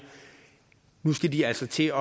nu skal de altså til